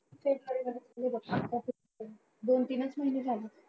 तेच बरे झाले हे बघ दोन तीनच महिने झाले.